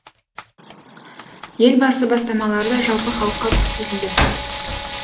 елбасы бастамалары да жалпы халыққа көрсетілді